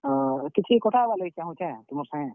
ହଁ କିଛି କଥା ହେବାର୍ ଲାଗି ଚାହୁଁଛେଁ ତୁମର୍ ସାଙ୍ଗେ।